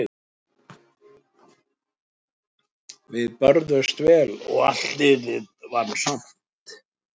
Við börðumst vel og allt liðið vann vel.